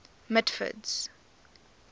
mitford's